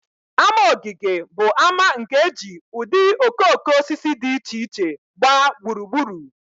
Ama ogige bụ ama nke e ji ụdị okooko osisi dị iche iche gbaa gburugburu